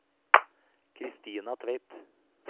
Kristina Tveit